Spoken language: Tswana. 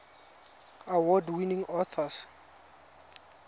award winning authors